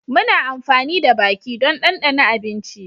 Muna amfani da baki don dandana abinci